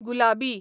गुलाबी